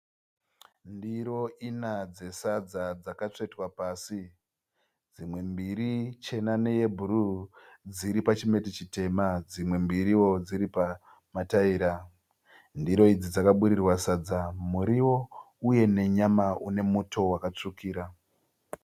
Ndiro ina dzesadza dzakatsvetwa pasi. Dzimwe mbiri chena neyebhuruu dziri pachimeti chitema dzimwe mbiriwo dziri pamataira. Ndiro idzi dzakaburirwa sadza muriwo uye nenyama une muto wakatsvukira.